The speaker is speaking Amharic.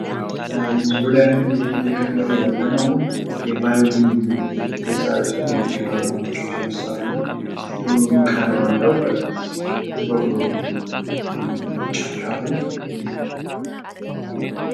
ምስሉ ላይ አሁን እየተመለከትን ያለነው የቫዮሊን መሳሪያ ሲሆን የሙዚቃ መጫዎቻ መሳሪያ ነው። ቀለም አለው ጥቁር ነው ጫፍ ጫፉ።